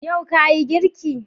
Yau ka Yi girki?